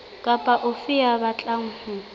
kapa ofe ya batlang ho